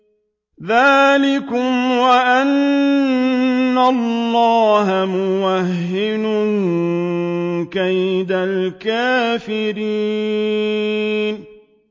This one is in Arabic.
ذَٰلِكُمْ وَأَنَّ اللَّهَ مُوهِنُ كَيْدِ الْكَافِرِينَ